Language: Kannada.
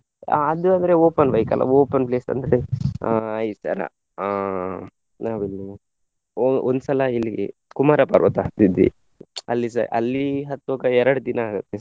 ಅಹ್ ಅದೇ ಅಂದ್ರೆ open bike ಅಲ್ಲ open place ಅಂದ್ರೆ ಆ ಈ ತರ ಆ ಯಾವುದು ಒ~ ಒಂದ್ಸಲ ಇಲ್ಲಿಗೆ ಕುಮಾರ ಪರ್ವತ ಹತ್ತಿದ್ವಿ ಅಲ್ಲಿಸ ಅಲ್ಲಿ ಹತ್ತುವಾಗ ಎರಡು ದಿನ ಆಗುತ್ತೆ.